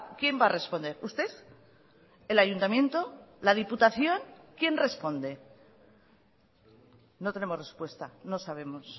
quién va a responder usted el ayuntamiento o la diputación quien responde no tenemos respuesta no sabemos